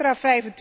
Een extra